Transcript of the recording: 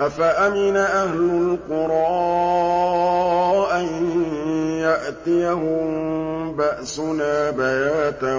أَفَأَمِنَ أَهْلُ الْقُرَىٰ أَن يَأْتِيَهُم بَأْسُنَا بَيَاتًا